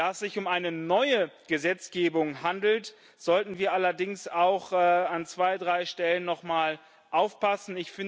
Da es sich um eine neue Gesetzgebung handelt, sollten wir allerdings auch an zwei, drei Stellen noch mal aufpassen.